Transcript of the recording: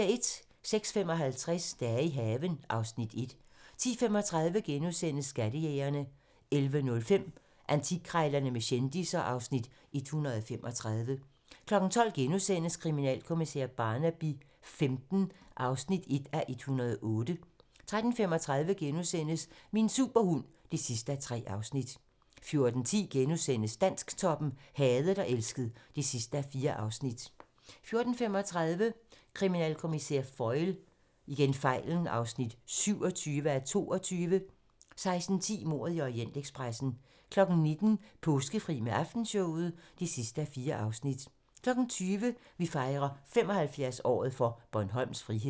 06:55: Dage i haven (Afs. 1) 10:35: Skattejægerne * 11:05: Antikkrejlerne med kendisser (Afs. 135) 12:00: Kriminalkommissær Barnaby XV (1:108)* 13:35: Min superhund (3:3)* 14:10: Dansktoppen: Hadet og elsket (4:4)* 14:35: Kriminalkommissær Foyle (27:22) 16:10: Mordet i Orientekspressen 19:00: Påskefri med Aftenshowet (4:4) 20:00: Vi fejrer 75-året for Bornholms frihed